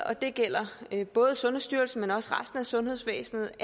og det gælder både sundhedsstyrelsen men også resten af sundhedsvæsenet